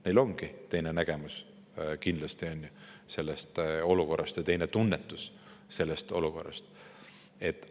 Neil ongi kindlasti sellest olukorrast teine nägemus, teistsugune tunnetus.